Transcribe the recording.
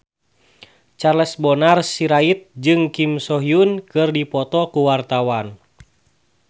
Charles Bonar Sirait jeung Kim So Hyun keur dipoto ku wartawan